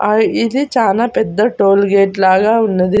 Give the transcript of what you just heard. ఆ ఇది చానా పెద్ద టోల్గేట్ లాగా ఉన్నది.